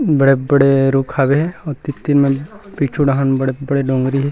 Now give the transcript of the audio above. बड़े-बड़े रुख हावे आऊ तीर-तीर म पीछू ढ़ाहन बड़े-बड़े डोंगरी हे।